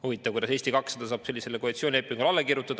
Huvitav, kuidas Eesti 200 sai sellisele koalitsioonilepingule alla kirjutada.